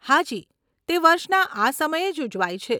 હાજી, તે વર્ષના આ સમયે જ ઉજવાય છે.